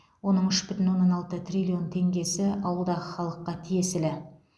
оның үш бүтін оннан алты триллион теңгесі ауылдағы халыққа тиесілі